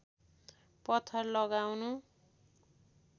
पत्थर लगाउनु